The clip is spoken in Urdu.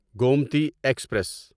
گومتی ایکسپریس